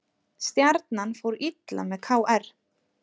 Stjarnan fór illa með KR